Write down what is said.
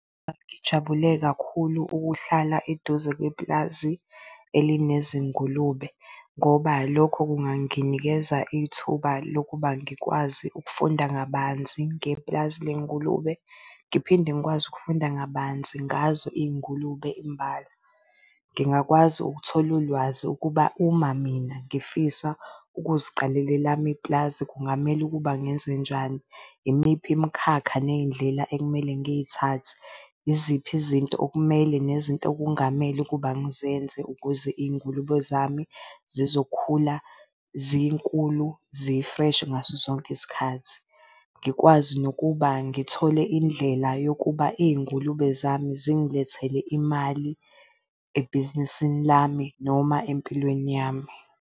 Ngijabule kakhulu ukuhlala eduze kwepulazi elinezi ngulube ngoba lokho kunganginikeza ithuba lokuba ngikwazi ukufunda kabanzi ngepulazi ley'ngulube, ngiphinde ngikwazi ukufunda kabanzi ngazo iy'ngulube imbala. Ngingakwazi ukuthola ulwazi ukuba uma mina ngifisa ukuziqalela elami ipulazi kungamele ukuba ngenzenjani, imiphi imikhakha ney'ndlela ekumele ngiy'thathe. Iziphi izinto okumele nezinto okungamele ukuba ngizenze ukuze iy'ngulube zami zizokhula zinkulu zi-fresh ngaso sonke isikhathi. Ngikwazi nokuba ngithole indlela yokuba iy'ngulube zami zingilethele imali ebhizinisini lami noma empilweni yami,